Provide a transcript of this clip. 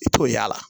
I t'o y'a la